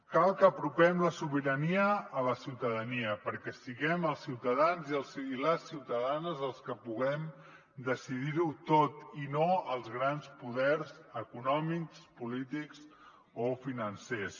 cal que apropem la sobirania a la ciutadania perquè siguem els ciutadans i les ciutadanes els que puguem decidir ho tot i no els grans poders econòmics polítics o financers